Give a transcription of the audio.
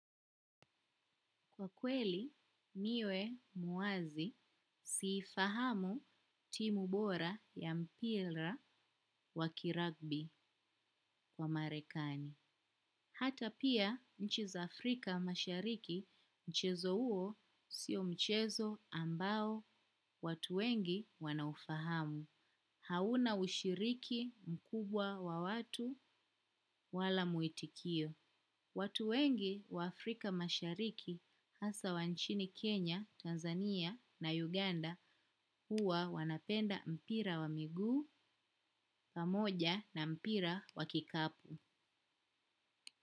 Kwa kweli, niwe muwazi siifahamu timu bora ya mpira wa kiragbi kwa marekani. Hata pia, nchi za Afrika mashariki, mchezo huo, sio mchezo ambao watu wengi wanaufahamu. Hauna ushiriki mkubwa wa watu wala muitikio. Watu wengi wa Afrika mashariki hasa wa nchini Kenya, Tanzania na Uganda huwa wanapenda mpira wa miguu, pamoja na mpira wa kikapu.